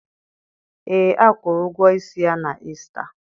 Ee, a kwụrụ ụgwọ isi ya na Ista.